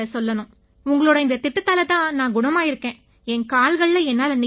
உங்களோட இந்தத் திட்டத்தால தான் நான் குணமாகியிருக்கேன் என் கால்கள்ல என்னால நிக்க முடியுது